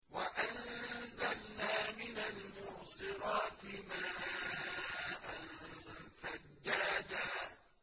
وَأَنزَلْنَا مِنَ الْمُعْصِرَاتِ مَاءً ثَجَّاجًا